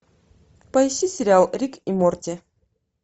поищи сериал рик и морти